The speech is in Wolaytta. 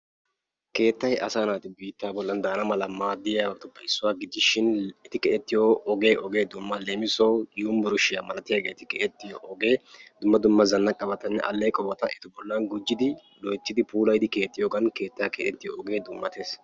Keettayi asaa naati biitta bollan de"ana mala maaddiyabatuppe issuwa gidishin; e💍ti keexettiyo ogee ogee dumma. Leemisuwawu yunbberesttiya malatiyageeti keexettiyoge dumma dumma zannaqabatanne alleeqobata eta bollan gujjidi loyttidi puulayidi keexxiyogan keettayi keexettiyo ogee dummates.